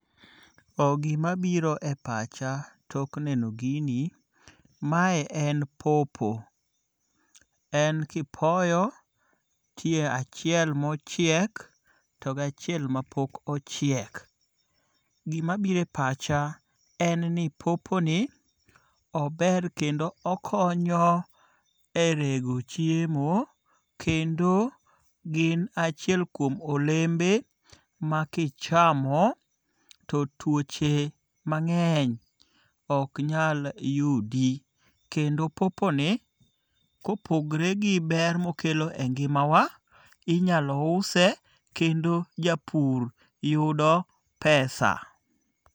Too gimabiro e pacha tok nenogini, mae en popo, en kipoyo tie achiel mochiek, to ga achiel ma pok ochiek, to gimabiro e pacha en ni poponi ober kendo okonyo e rego chiemo kendo gin achiel kuom olembe ma kichamo to tuoche mange'ny ok nyal yudi, kendo poponi kopogre gi ber ma okelo e ngi'mawa inyalo use kendo japur yudo pesa.